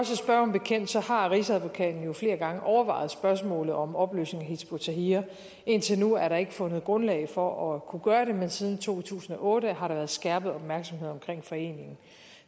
bekendt så har rigsadvokaten jo flere gange overvejet spørgsmålet om opløsning af hizb ut tahrir indtil nu er der ikke fundet grundlag for at kunne gøre det men siden to tusind og otte har der været skærpet opmærksomhed på foreningen